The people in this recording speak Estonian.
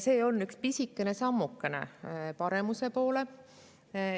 See on üks pisikene sammukene paremuse poole.